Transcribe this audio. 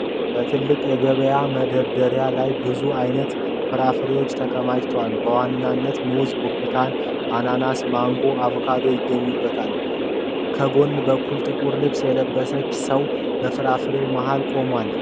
በትልቅ የገበያ መደርደሪያ ላይ ብዙ አይነት ፍራፍሬዎች ተከማችተዋል። በዋናነት ሙዝ፣ ብርቱካን፣ አናናስ፣ ማንጎና አቮካዶ ይገኙበታል። ከጎን በኩል ጥቁር ልብስ የለበሰ ሰው በፍራፍሬዎቹ መሀል ቆሟል።